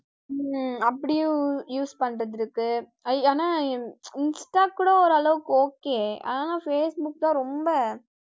உம் அப்படியும் use பண்றது இருக்கு, ஆனா insta கூட ஒரு அளவுக்கு okay ஆனா facebook தான் ரொம்ப